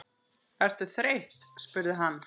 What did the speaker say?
Ertu þreytt? spurði hann.